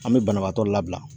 An me banabaatɔ labila